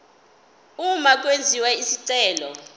uma kwenziwa isicelo